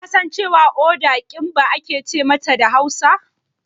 Kasan cewa Uda "Kimba" ake ce mata da Hausa?